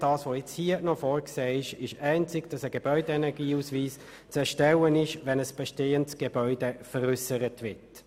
Hier ist nur noch das Erstellen eines Gebäudeenergieausweises vorgesehen, wenn ein bestehendes Gebäude veräussert wird.